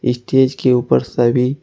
stage के ऊपर सभी--